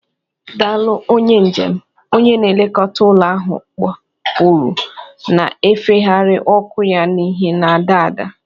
"Daalụ, onye njem," onye na-elekọta ụlọ ahụ kpọkuru, na-efegharị ọkụ ya n'ìhè na-ada ada